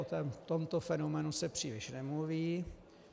O tomto fenoménu se příliš nemluví.